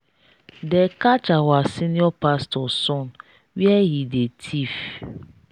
they catch our senior pastor son where he dey thief.